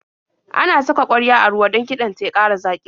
Ana saka ƙwarya a ruwa don kiɗan ta ya ƙara zaƙi.